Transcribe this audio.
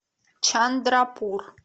чандрапур